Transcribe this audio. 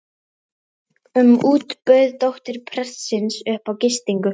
um út bauð dóttir prestsins upp á gistingu.